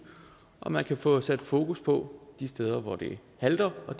og at man kan få sat fokus på de steder hvor det halter og